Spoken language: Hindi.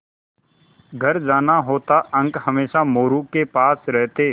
घर जाना होता अंक हमेशा मोरू के पास रहते